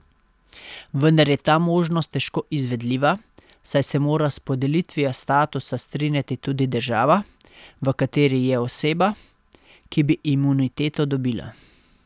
Vendar je ta možnost težko izvedljiva, saj se mora s podelitvijo statusa strinjati tudi država, v kateri je oseba, ki bi imuniteto dobila.